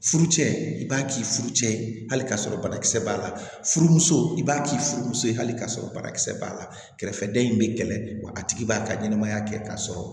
Furu cɛ i b'a k'i furucɛ hali k'a sɔrɔ banakisɛ b'a la furumuso i b'a k'i furumuso ye hali k'a sɔrɔ banakisɛ b'a la kɛrɛfɛdɛn in bɛ kɛlɛ wa a tigi b'a ka ɲɛnɛmaya kɛ k'a sɔrɔ